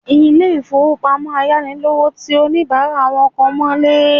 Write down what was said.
Ilé ìfowópamọ́ ayánilówóṣòwó ti oníbàárà wọn kan mọ́lé